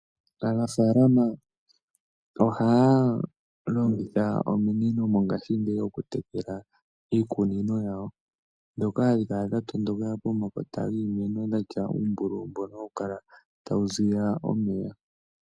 Aanafalama ohaya longitha ominino mongashingeyi oku tekela iikunino yawo. Ndhoka hadhi kala dha tondoka pomakota giimeno dhatya uumbululu mbono hawu kala tawu ziya omeya.